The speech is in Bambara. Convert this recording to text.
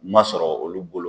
Ma sɔrɔ olu bolo